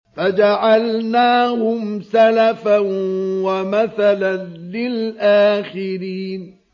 فَجَعَلْنَاهُمْ سَلَفًا وَمَثَلًا لِّلْآخِرِينَ